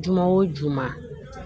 Juma wo juma